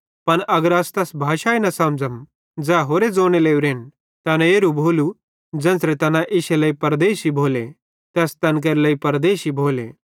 पन अगर अस तैस भाषाई न समझ़म ज़ै होरे ज़ोने लोरेन त एन एरू भोलू कि ज़ेन्च़रे तैना इश्शे लेइ परदेशी भोले ते अस तैन केरे लेइ परदेशी भोले